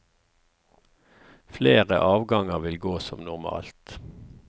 Flere avganger vil gå som normalt.